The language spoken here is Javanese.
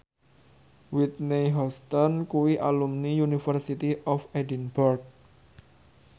Whitney Houston kuwi alumni University of Edinburgh